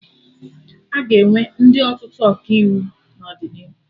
Aga enwe ndị ọtụtụ Ọkaiwu n'ọdịnihu